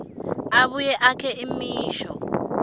abuye akhe imisho